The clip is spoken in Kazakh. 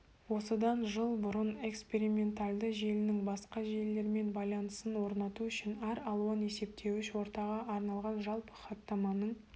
осыдан жыл бұрын экспериментальды желісінің басқа желілермен байланысын орнату үшін әр алуан есептеуіш ортаға арналған жалпы хаттаманың